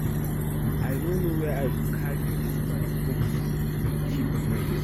I no know where I go carry dis woman room key keep now